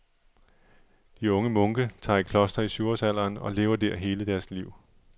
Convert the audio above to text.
De unge munke tager i kloster i syvårsalderen, og lever der hele deres liv.